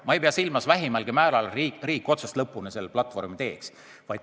Ma ei pea vähimalgi määral silmas, et riik võiks otsast lõpuni selle platvormi teha.